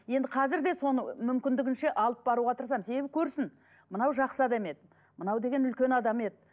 енді қазір де соны мүмкіндігінше алып барауға тырысамын себебі көрсін мынау жақсы адам еді мынау деген үлкен адам еді